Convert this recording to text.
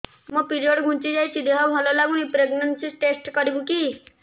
ମୋ ପିରିଅଡ଼ ଘୁଞ୍ଚି ଯାଇଛି ଦେହ ଭଲ ଲାଗୁନି ପ୍ରେଗ୍ନନ୍ସି ଟେଷ୍ଟ କରିବୁ କି